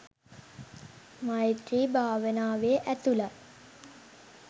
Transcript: මෛත්‍රී භාවනාවේ ඇතුළත්